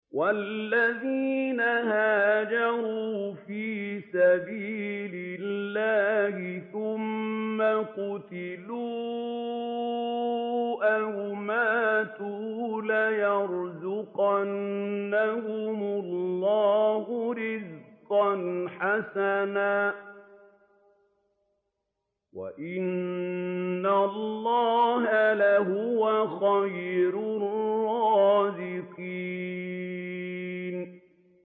وَالَّذِينَ هَاجَرُوا فِي سَبِيلِ اللَّهِ ثُمَّ قُتِلُوا أَوْ مَاتُوا لَيَرْزُقَنَّهُمُ اللَّهُ رِزْقًا حَسَنًا ۚ وَإِنَّ اللَّهَ لَهُوَ خَيْرُ الرَّازِقِينَ